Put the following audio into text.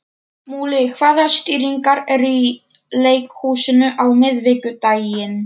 Múli, hvaða sýningar eru í leikhúsinu á miðvikudaginn?